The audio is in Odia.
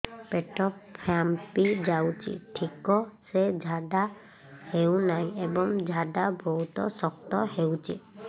ପେଟ ଫାମ୍ପି ଯାଉଛି ଠିକ ସେ ଝାଡା ହେଉନାହିଁ ଏବଂ ଝାଡା ବହୁତ ଶକ୍ତ ହେଉଛି